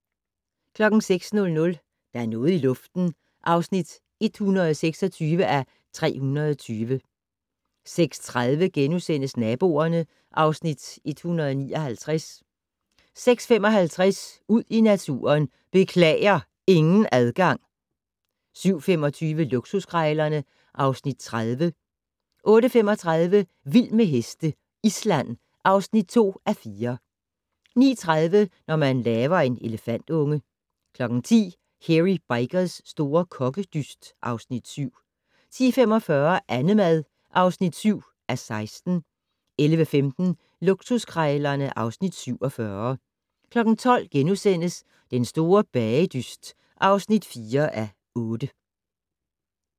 06:00: Der er noget i luften (126:320) 06:30: Naboerne (Afs. 159)* 06:55: Ud i naturen: Beklager, ingen adgang! 07:25: Luksuskrejlerne (Afs. 30) 08:35: Vild med heste - Island (2:4) 09:30: Når man laver en elefantunge 10:00: Hairy Bikers' store kokkedyst (Afs. 7) 10:45: Annemad (7:16) 11:15: Luksuskrejlerne (Afs. 47) 12:00: Den store bagedyst (4:8)*